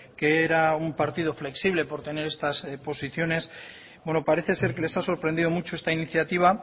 que era un partido flexible por tener estas posiciones bueno parece ser que les ha sorprendido mucho esta iniciativa